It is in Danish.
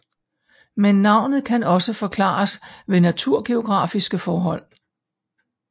Men navnet kan også forklares ved naturgeografiske forhold